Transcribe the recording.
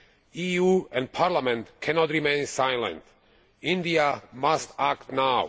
The EU and Parliament cannot remain silent. India must act now.